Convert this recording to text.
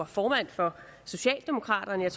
formand for socialdemokraterne og